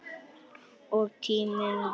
Og tíminn talar.